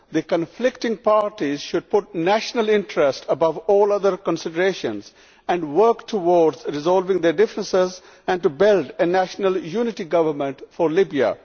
The conflicting parties should put the national interest above all other considerations and work towards resolving their differences and building a national unity government for Libya.